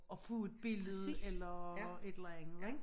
At få et billede eller et eller andet ik